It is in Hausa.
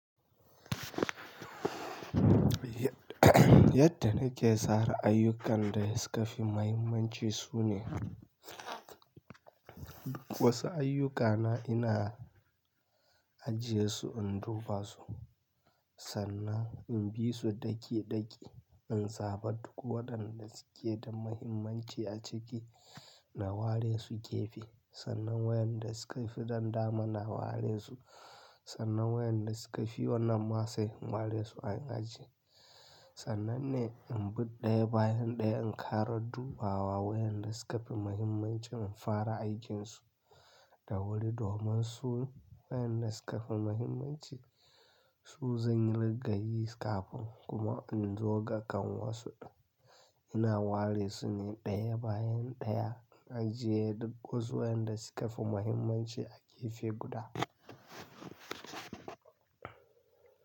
Yadda na ke tsara ayyukan da suka fi mahimmanci su ne, wasu ayyukana ina ajiye su in dubasu sannan in bi su daki-daki, in zaba duk waɗanda suke da mahimmanci a ciki na ware su gefe, sannan wayanda suka fi dandama na ware su, sannan wayanda suka fi wannan ma sai in ware su a ajiye. Sannan ne in bi ɗaya bayan ɗaya in ƙara dubawa wayanda suka fi mahimmanci in fara aikinsu da wuri domin su wayanda suka fi mahimmanci su zanyi riga yi kafin kuma in zo ga ƙanwansu. Ina ware su ne ɗaya bayan ɗaya, in ajiye duk wasu wayanda suka fi mahimmanci a gefe guda.